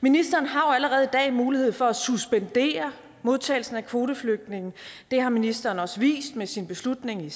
ministeren har jo allerede i dag mulighed for at suspendere modtagelsen af kvoteflygtninge det har ministeren også vist med sin beslutning i